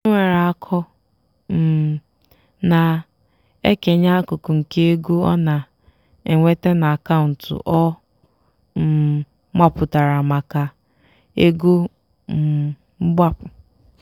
onye nwere akọ um na-ekenye akụkụ nke ego ọ na-enweta na akaụntụ ọ um mapụtara maka "ego um mgbapu".